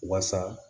Waasa